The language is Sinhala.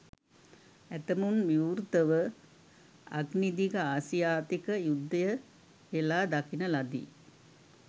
ඇතමුන් විවෘතව අග්නිදිග ආසියාතික යුද්ධය හෙලා දකින ලදී.